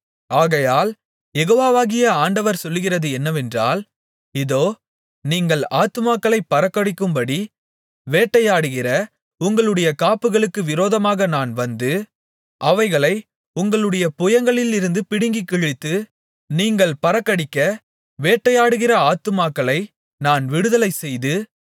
ஆகையால் யெகோவாகிய ஆண்டவர் சொல்லுகிறது என்னவென்றால் இதோ நீங்கள் ஆத்துமாக்களைப் பறக்கடிக்கும்படி வேட்டையாடுகிற உங்களுடைய காப்புகளுக்கு விரோதமாக நான் வந்து அவைகளை உங்களுடைய புயங்களிலிருந்து பிடுங்கிக்கிழித்து நீங்கள் பறக்கடிக்க வேட்டையாடுகிற ஆத்துமாக்களை நான் விடுதலைசெய்து